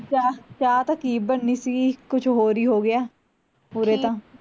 ਚਾਅ ਚਾਹ ਤਾਂ ਕੀ ਬਣਨੀ ਸੀਗੀ, ਕੁੱਛ ਹੋਰ ਹੀ ਹੋਗਿਆ ਉਰੇ ਤਾਂ